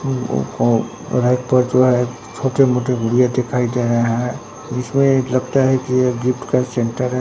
Rack पर जो है छोटे मोटे गुड़िया दिखाई दे रहे हैं जिसमे एक लगता है कि ये गिफ्ट का सेंटर है।